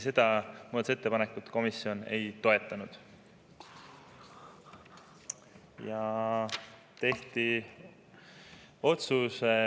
Seda muudatusettepanekut komisjon ei toetanud.